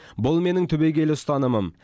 бұл менің түбегейлі ұстанымым